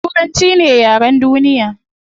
Turanchi ne yaren duniya